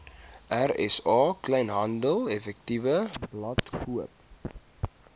rsa kleinhandeleffektewebblad koop